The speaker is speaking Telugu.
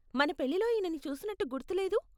మన పెళ్ళిలో ఈనని చూసినట్టు గుర్తులేదు.